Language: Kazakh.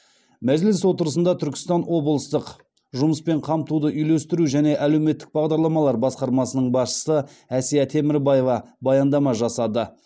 мәжіліс отырысында түркістан облыстық жұмыспен қамтуды үйлестіру және әлеуметтік бағдарламалар басқармасының басшысы әсия темірбаева баяндама жасады